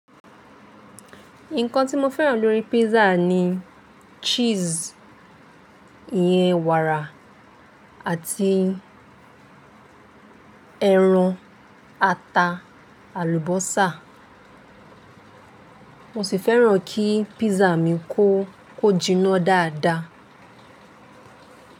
Nǹkan tí mo fẹ́ràn lórí pízza ni cheese, ìyẹ̀n wàrà àti ẹran ata, àlùbọ́sà. Mo sì fẹ́ràn kí pízza mi kó kójíná dáadáa.